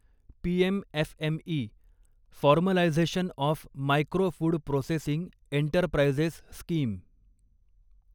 PM FME formalisation of micro food processing enterprises scheme